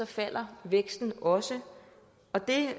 falder væksten også og det